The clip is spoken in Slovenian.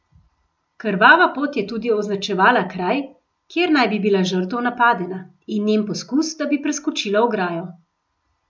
Krvava pot je tudi označevala kraj, kjer naj bi bila žrtev napadena, in njen poskus, da bi preskočila ograjo.